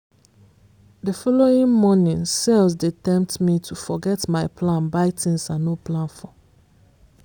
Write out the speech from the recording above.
the following morning sales dey tempt me to forget my plan buy things i no plan for.